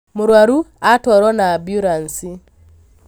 Mũrwaru atwarwo na amburanci